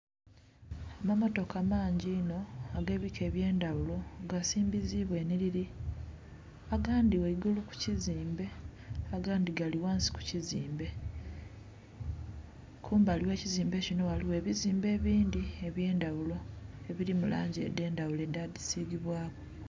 Amammotoka mangi inho agebika ebyendaghulo nga gasimbizibwa enhi lili agandhi ghaigulu ku kizimbe agandhi gali ghansi kukizimbe kumbali oghe kizimbe kinho ghaligho ebizimbe ebindhi ebyendaghulo edhili mulangi edhe ndhaghulo edha dhi sigibwa ku.